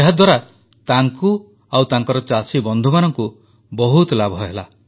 ଏହାଦ୍ୱାରା ତାଙ୍କୁ ଓ ତାଙ୍କର ଚାଷୀବନ୍ଧୁମାନଙ୍କୁ ବହୁତ ଲାଭ ହେଲା